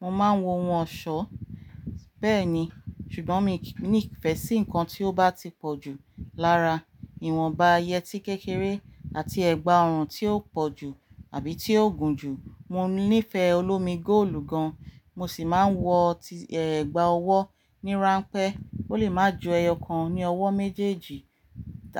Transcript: Mo máa ń wọ ohun ọ̀ṣọ́, bẹ́ẹ̀ ni, ṣùgbọ́n mi ki ní ìfẹ́ sí nǹkan tí ó bá ti pọ̀ jù lára ìwọ̀nba yẹtí kékeré àti ẹ̀gbà ọrùn tí ó pọ̀ jù àbí tí ó gùn jù. Mo nífẹ̀ẹ́ olómi-goòlù gan, mo sì máa ń wọ tí ẹ̀gbà ọwọ́ ní ránpẹ́, ó lè máa ju ẹyọ kan ní ọwọ́ méjèèjì,